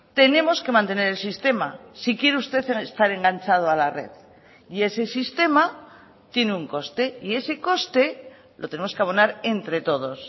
tenemos que mantener el sistema si quiere usted estar enganchado a la red y ese sistema tiene un coste y ese coste lo tenemos que abonar entre todos